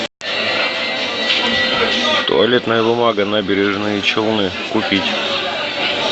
туалетная бумага набережные челны купить